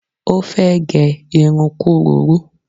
Ó fẹ́ gẹ irun kúrurú